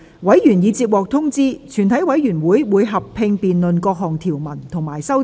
委員已獲通知，全體委員會會合併辯論各項條文及修正案。